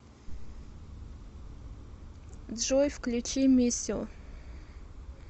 джой включи миссио